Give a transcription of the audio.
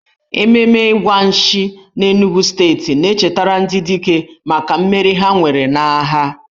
Ememe Igwa Nshi n'Enugwu steeti na-echetara ndị dike maka mmeri ha nwere n'agha.